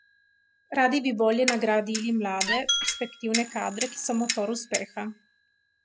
Radi bi bolje nagradili mlade, perspektivne kadre, ki so motor uspeha.